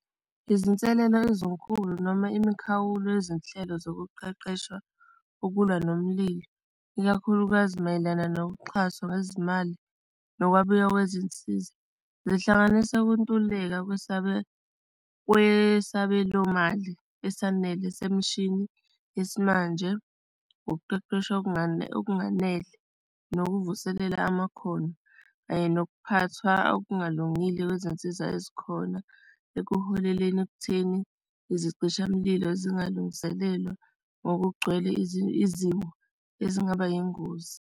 Izinselelo ezinkulu noma imikhawulo, yezinhlelo zokuqeqesha ukulwa nomlilo, ikakhulukazi mayelana noxhaso ngezimali nokwabiwa kwezinsiza, zihlanganisa ukuntuleka kwesabelomali esanele semshinini yesimanje, ukuqeqeshwa okunganele nokuvuselela amakhono kanye nokuphathwa okungalungile kwezinsiza ezikhona ekuholeleni ekutheni izicishamlilo zingalungiselelwa ngokugcwele izimo ezingaba yingozi.